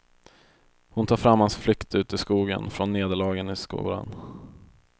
Hon tar fram hans flykt ut i skogen från nederlagen i skolan.